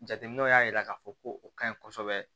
Jateminɛw y'a jira k'a fɔ ko o kaɲi kosɛbɛ